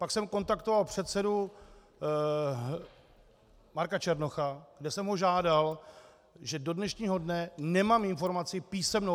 Pak jsem kontaktoval předsedu Marka Černocha, kde jsem ho žádal, že do dnešního dne nemám informaci písemnou.